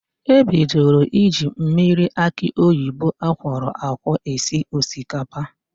E bidoro iji mmiri akị oyibo akwọrọ akwọ esi osikapa.